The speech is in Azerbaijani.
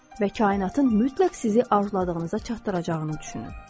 Və kainatın mütləq sizi arzladığınıza çatdıracağını düşünün.